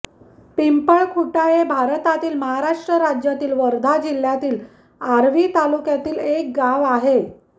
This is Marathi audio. पिंपळखुटा हे भारतातील महाराष्ट्र राज्यातील वर्धा जिल्ह्यातील आर्वी तालुक्यातील एक गाव आहे